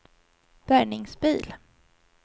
bärgningsbil